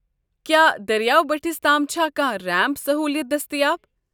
کیٛاہ دٔریاو بٔٹھس تام چھا کانٛہہ رینٛپ سہوٗلیت دٔستیاب؟